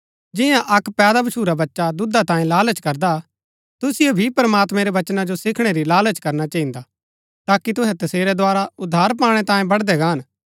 जिन्या अक्क पैदा भच्छुरा बच्चा दुधा तांये लालच करदा हा तुसिओ भी प्रमात्मैं रै बचना जो सिखणै री लालच करना चहिन्दा ताकि तुहै तसेरै द्धारा उद्धार पाणै तांये बढ़दै गाहन